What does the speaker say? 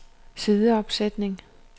sideopsætning